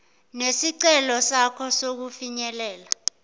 nesicelo sakho sokufinyelela